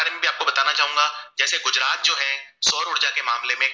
सौर उर्जा के मामले में